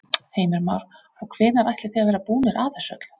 Heimir Már: Og hvenær ætlið þið að vera búnir að þessu öllu?